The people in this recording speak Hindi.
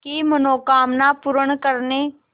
की मनोकामना पूर्ण करने